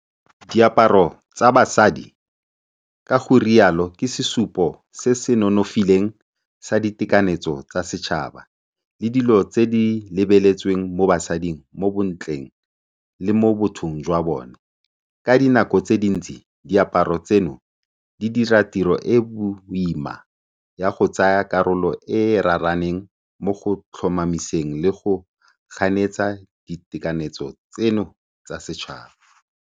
Diaparo tsa basadi ka go rialo ke sesupo se se nonofileng sa ditekanyetso tsa setšhaba le dilo tse di lebeletsweng mo basading mo bontleng le mo bothong jwa bone. Ka dinako tse dintsi, diaparo tseno di dira tiro e e boima ya go tsaya karolo e e raraaneng mo go tlhomamiseng le go ganetsa ditekanyetso tseno tsa setšhaba.